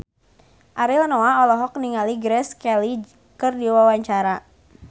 Ariel Noah olohok ningali Grace Kelly keur diwawancara